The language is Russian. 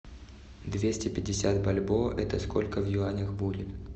двести пятьдесят бальбоа это сколько в юанях будет